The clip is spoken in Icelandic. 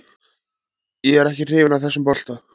Ég er ekki hrifinn af þessum bolta.